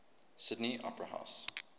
sydney opera house